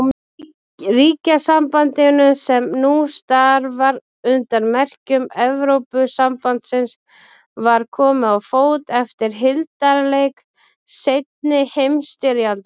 Ríkjasambandinu, sem nú starfar undir merkjum Evrópusambandsins, var komið á fót eftir hildarleik seinni heimsstyrjaldar.